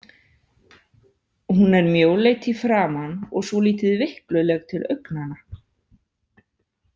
Hún er mjóleit í framan og svolítið veikluleg til augnanna.